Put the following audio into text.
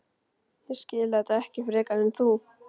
Ég skil þetta ekki frekar en þú.